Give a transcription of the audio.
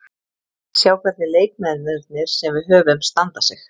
Sjá hvernig leikmennirnir sem við höfum standa sig.